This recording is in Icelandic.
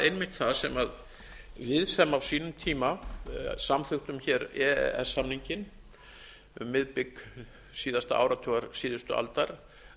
einmitt það sem við sem á sínum tíma samþykktum hér e e s samninginn um miðbik síðasta áratugar síðustu aldar